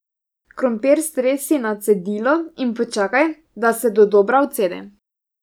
Krompir stresi na cedilo in počakaj, da se dodobra odcedi.